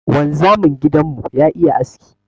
Wanzamin gidan mu ya iya aski.